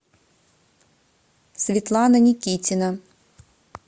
светлана никитина